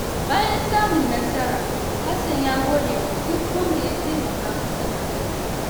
Bayan samun nasara, Hassan ya gode wa duk wanda ya taimaka masa a rayuwa.